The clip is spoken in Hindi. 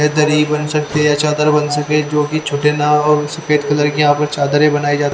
ये दरी बन सकती है चादर बन सके जो कि छोटे नाव और सफेद कलर की यहां पर चादरें बनाई जाती--